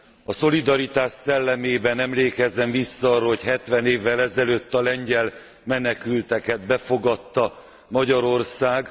A szolidaritás szellemében emlékezzen vissza arra, hogy 70 évvel ezelőtt a lengyel menekülteket befogadta Magyarország!